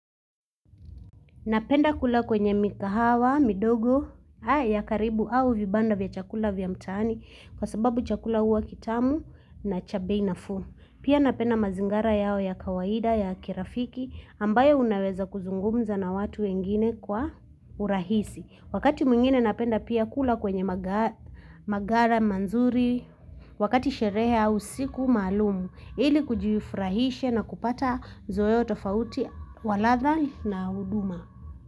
Napenda kula kwenye mikahawa, midogo, ya karibu au vibanda vya chakula vya mtani kwa sababu chakula huwa kitamu na cha bei nafuu. Pia napenda mazingara yao ya kawaida ya kirafiki ambayo unaweza kuzungumza na watu wengine kwa urahisi. Wakati mwengine napenda pia kula kwenye magara manzuri wakati shereha au siku malumu ili kujifrahisha na kupata zoeo tofauti walatha na uduma.